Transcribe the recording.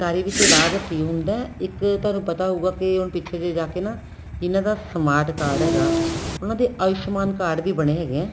ਸਰਕਾਰੀ ਵਿੱਚ ਇਲਾਜ free ਹੁੰਦਾ ਇੱਕ ਤੁਹਾਨੂੰ ਪਤਾ ਹਉਗਾ ਕੇ ਹੁਣ ਪਿੱਛੇ ਜੇ ਜਾ ਕੇ ਨਾ ਇਹਨਾ ਦਾ smart card ਹੈਗਾ ਉਹਨਾ ਦੇ ਆਉਸ਼ਮਾਨ card ਵੀ ਬਣੇ ਹੈਗੇ ਏ